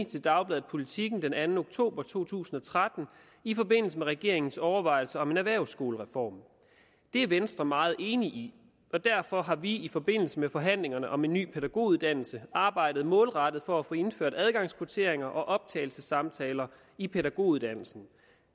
til dagbladet politiken den anden oktober to tusind og tretten i forbindelse med regeringens overvejelser om en erhvervsskolereform det er venstre meget enig i og derfor har vi i forbindelse med forhandlingerne om en ny pædagoguddannelse arbejdet målrettet for at få indført adgangskvotienter og optagelsessamtaler i pædagoguddannelsen